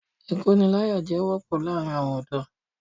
Ìkóniláyàjẹ wọ́pọ̀ láàrin àwọn ọ̀dọ́.